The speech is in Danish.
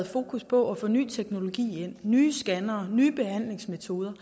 fokus på ny teknologi med nye scannere og nye behandlingsmetoder